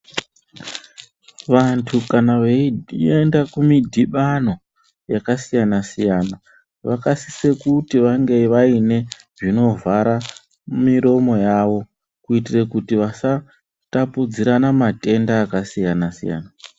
Vantu kana veienda kumidhibano, yakasiyana-siyana, vakasise kuti vange vaine zvinovhara miromo yavo, kuiitire kuti vasatapudzirana matenda akasiyana-siyana.